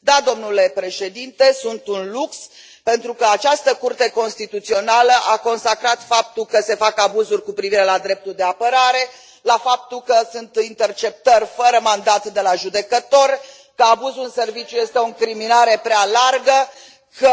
Da, domnule președinte, sunt un lux pentru că această Curte Constituțională a consacrat faptul că se fac abuzuri cu privire la dreptul de apărare, faptul că sunt interceptări fără mandat de la judecător, că abuzul în serviciu este o incriminare prea largă, că